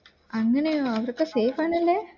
അങ്ങനെയാണോ അവരൊക്കെ safe തന്നെയല്ലേ